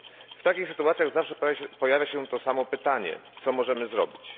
W takich sytuacjach zawsze pojawia się to samo pytanie co możemy zrobić?